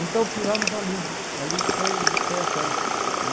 Então, fizemos ali, ali que foi foi a festa.